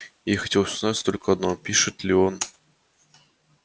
ей хотелось узнать только одно пишет ли он